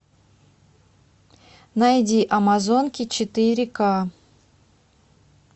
найди амазонки четыре ка